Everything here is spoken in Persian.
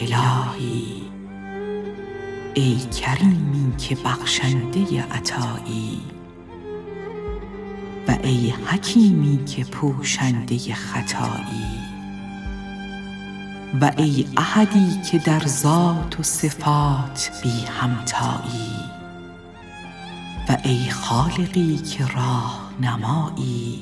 الهی ای کریمی که بخشنده عطایی و ای حکیمی که پوشنده خطایی و ای احدی که در ذات و صفات بی همتایی و ای خالقی که راهنمایی